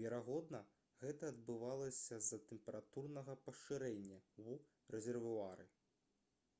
верагодна гэта адбывалася з-за тэмпературнага пашырэння ў рэзервуары